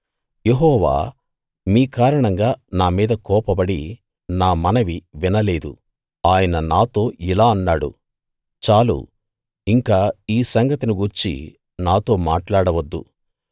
యెహోవా మీ కారణంగా నా మీద కోపపడి నా మనవి వినలేదు ఆయన నాతో ఇలా అన్నాడు చాలు ఇంక ఈ సంగతిని గూర్చి నాతో మాట్లాడవద్దు